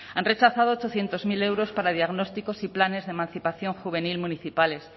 han rechazado ochocientos mil euros para diagnósticos y planes de emancipación juvenil municipales